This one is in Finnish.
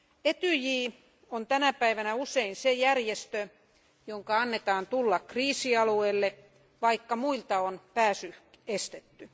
Etyj on tänä päivänä usein se järjestö, jonka annetaan tulla kriisialueille, vaikka muilta on pääsy estetty.